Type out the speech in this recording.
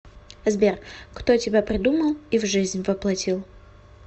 сбер кто тебя придумал и в жизнь воплотил